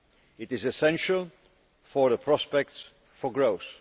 This is essential for the prospects for growth.